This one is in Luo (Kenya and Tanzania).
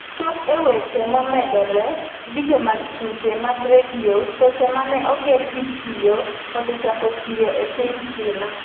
chop e weche momedore Vidio mag Tuke mag Redio Choche mane oger gi kioo osechako tiyo e piny China